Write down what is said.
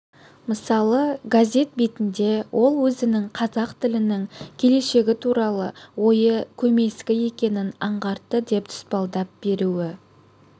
мысалы газет бетінде ол өзінің қазақ тілінің келешегі туралы ойы көмескі екенін аңғартты деп тұспалдап беруі